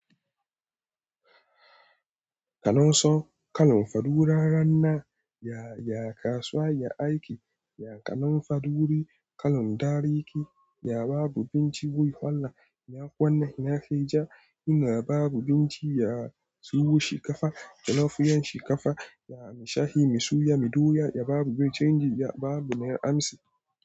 Kanon so, kalon fadu wurare nan ya, ya kasuwa ya aiki, ya kanon fadu wuri, kalon dareke, ya babu binciko wahala, ya kowane ya kai ja, in a babu binciko ya tsohu shi kafa, ya nafi yan shi kafa, ya mashayi, mi suya, mi doya, ya babu binciko, ya babu na amsi.